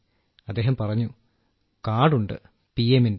അദ്ദേഹം പറഞ്ഞു കാർഡ് ഉണ്ട് പി എമ്മിന്റെ